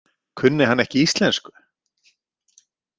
Kunni hann ekki íslensku?